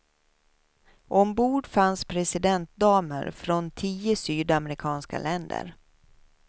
Ombord fanns presidentdamer från tio sydamerikanska länder.